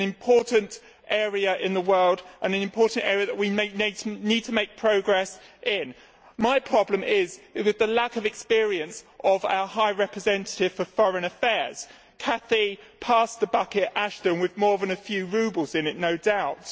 this is an important area in the world and an important area that we may need to make progress in. My problem is with the lack of experience of our High Representative for Foreign Affairs, Cathy pass the bucket Ashton, with more than a few roubles in it, no doubt.